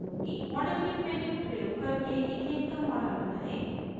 modelkit menu प्रयोग करके ethane का model बनाएं